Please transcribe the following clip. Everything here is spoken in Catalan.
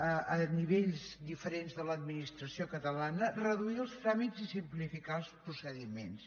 a nivells diferents de l’administració catalana reduir els tràmits i simplificar els procediments